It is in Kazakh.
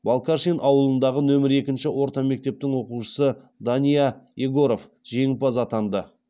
балкашин ауылындағы нөмір екінші орта мектептің оқушысы дания егоров жеңімпаз атанды